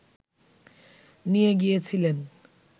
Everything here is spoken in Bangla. নিয়ে গিয়েছিলেন